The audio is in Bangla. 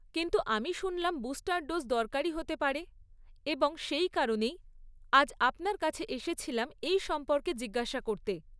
কিন্তু আমি শুনলাম বুস্টার ডোজ দরকারি হতে পারে, এবং সেই কারণেই আজ আপনার কাছে এসেছিলাম এই সম্পর্কে জিজ্ঞাসা করতে।